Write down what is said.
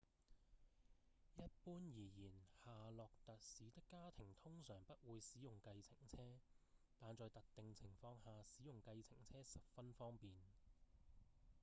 一般而言夏洛特市的家庭通常不會使用計程車但在特定情況下使用計程車十分方便